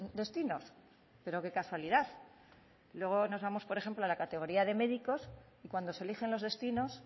destinos pero que casualidad luego nos vamos por ejemplo a la categoría de médicos y cuando se eligen los destinos